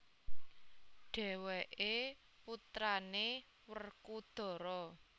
Dhèwèké putrané Wrekodara